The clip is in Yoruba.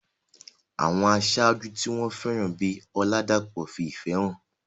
Àwọn aṣáájú tí wọ́n fẹ́ràn bíi Oladapo fi ìfẹ́ hàn.